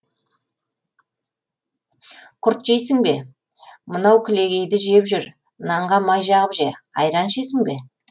құрт жейсің бе мынау кілегейді жеп жүр нанға май жағып же айран ішесің бе